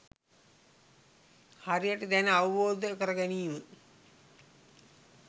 හරිහැටි දැන අවබෝධ කර ගැනීම